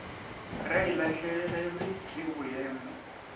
ga e lahlegelwe ke boemo